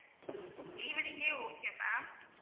evening ஏ okay ma'am